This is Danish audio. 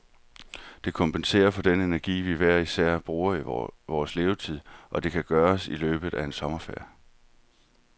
Det kompenserer for den energi, vi hver især bruger i vores levetid, og det kan gøres i løbet af en sommerferie.